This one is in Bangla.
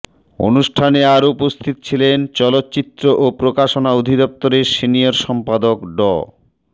অনুষ্ঠানে আরও উপস্থিত ছিলেন চলচ্চিত্র ও প্রকাশনা অধিদপ্তরের সিনিয়র সম্পাদক ড